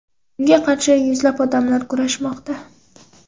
Unga qarshi yuzlab odamlar kurashmoqda.